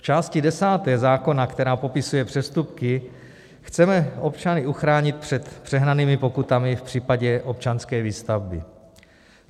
V části desáté zákona, která popisuje přestupky, chceme občany uchránit před přehnanými pokutami v případě občanské výstavby.